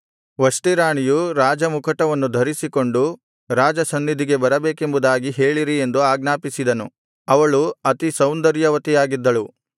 ವಷ್ಟಿ ರಾಣಿಯು ರಾಜಮುಕುಟವನ್ನು ಧರಿಸಿಕೊಂಡು ರಾಜಸನ್ನಿಧಿಗೆ ಬರಬೇಕೆಂಬದಾಗಿ ಹೇಳಿರಿ ಎಂದು ಆಜ್ಞಾಪಿಸಿದನು ಅವಳು ಅತಿ ಸೌಂದರ್ಯವತಿಯಾಗಿದ್ದಳು